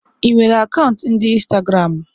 Ị nwere akaụntụ ndi Instagramu?